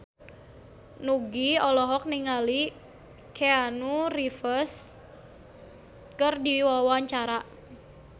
Nugie olohok ningali Keanu Reeves keur diwawancara